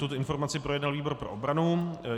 Tuto informaci projednal výbor pro obranu.